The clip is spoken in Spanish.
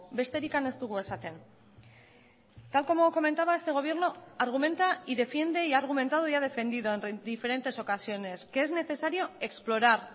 besterik ez dugu esaten tal como comentaba este gobierno argumenta y defiende y ha argumentado y ha defendido en diferentes ocasiones que es necesario explorar